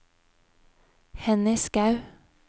Henny Skaug